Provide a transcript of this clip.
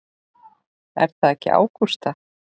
Er það ekki Ágústa?